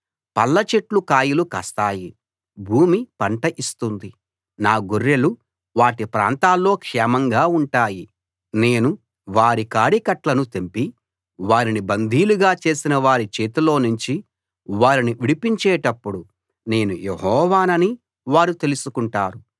పళ్ళ చెట్లు కాయలు కాస్తాయి భూమి పంట ఇస్తుంది నా గొర్రెలు వాటి ప్రాంతాల్లో క్షేమంగా ఉంటాయి నేను వారి కాడికట్లను తెంపి వారిని బందీలుగా చేసినవారి చేతిలో నుంచి వారిని విడిపించేటప్పుడు నేను యెహోవానని వారు తెలుసుకుంటారు